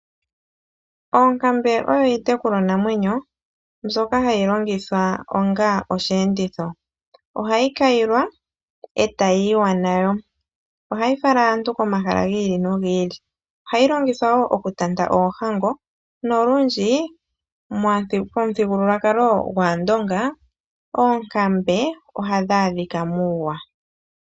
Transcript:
Oonkambe oyo iitekulwanamwenyo mbyoka hayi longithwa onga oshiyenditho ohayi kayilwa e tayi yiwa nayo, ohayi fala aantu komahala gii ili nogi ili ohayi longithwa woo okutanta oohango nolundji pamuthigululwakalo gwaandonga oonkambe ohadhi adhika muuwa.